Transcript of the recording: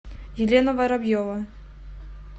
елена воробьева